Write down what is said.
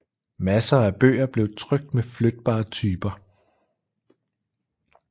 Masser af bøger blev trykt med flytbare typer